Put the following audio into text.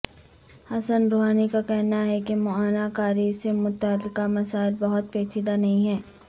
حسن Rouhani کا کہنا ہے کہ معائنہ کاری سے متعلقہ مسائل بہت پیچیدہ نہیں ہیں